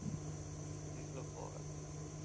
பிடிக்கல போகலை.